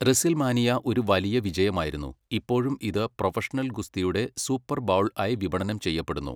WrestleMania ഒരു വലിയ വിജയമായിരുന്നു, ഇപ്പോഴും ഇത് പ്രൊഫഷണൽ ഗുസ്തിയുടെ സൂപ്പർ ബൗൾ ആയി വിപണനം ചെയ്യപ്പെടുന്നു.